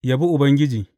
Yabi Ubangiji.